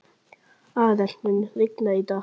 Arent, mun rigna í dag?